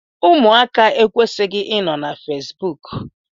Ụmụaka ekwesighi I nọ na Fesbụụk.